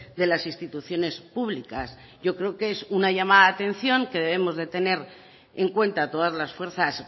de las instituciones públicas yo creo que es una llamada de atención que debemos de tener en cuenta todas las fuerzas